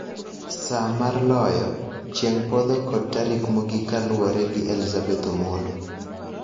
Saa mar Loyo, Chieng' Podho kod Tarik Mogik kaluwore gi Elizabeth Omollo,